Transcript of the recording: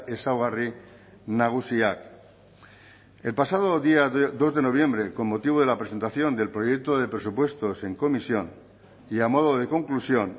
ezaugarri nagusiak el pasado día dos de noviembre con motivo de la presentación del proyecto de presupuestos en comisión y a modo de conclusión